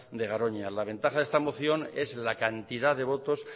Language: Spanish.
de garoña la ventaja de esta moción es la cantidad de votos